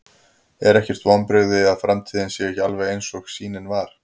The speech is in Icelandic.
Er ekkert vonbrigði að framtíðin sé ekki alveg eins og sýnin var?